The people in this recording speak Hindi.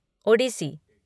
ओडिसी